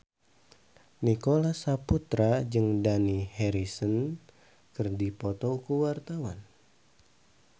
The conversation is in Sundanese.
Nicholas Saputra jeung Dani Harrison keur dipoto ku wartawan